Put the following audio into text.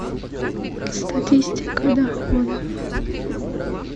статистика доходов